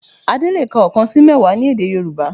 Adé le è ka oókan sí mẹ́wàá ní èdè Yorùbá